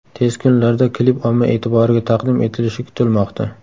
Tez kunlarda klip omma e’tiboriga taqdim etilishi kutilmoqda.